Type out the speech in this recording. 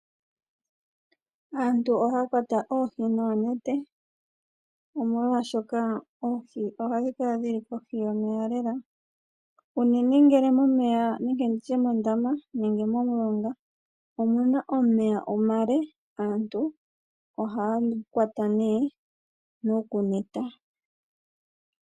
Aantu ohaa kwata oohi noonete, omolwashoka oohi ohadhi kala dhi li kohi yomeya lela. Unene ngele momeya, nenge ndi tye mondama nenge momulonga omu na omeya omale, aantu ohaa kwata nokuneta.